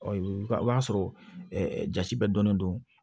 o y'a sɔrɔ ja bɛɛ dɔnnen don